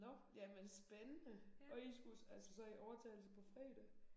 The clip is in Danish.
Nåh jamen spændende. Og I skulle altså så i overtagelse på fredag